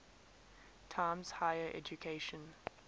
times higher education